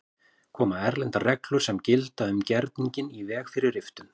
Koma erlendar reglur sem gilda um gerninginn í veg fyrir riftun?